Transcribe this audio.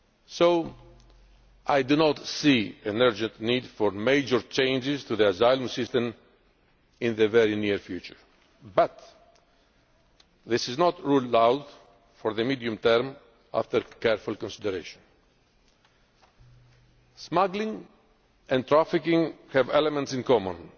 So I do not see an urgent need for major changes to the asylum system in the very near future, but this is not ruled out for the medium term after careful consideration. Smuggling and trafficking have elements in